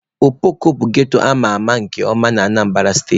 Okpoko bụ ghetto amaara nke ọma na Anambara steeti.